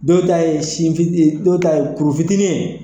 Dɔw ta ye sin cun ki ye, dɔw ta kuru fitinin ye.